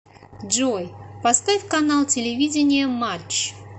джой поставь канал телевидения матч